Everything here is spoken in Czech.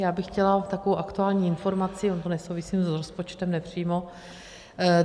Já bych chtěla takovou aktuální informaci, ono to nesouvisí s rozpočtem, nepřímo.